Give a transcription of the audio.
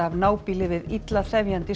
af nábýli við illa þefjandi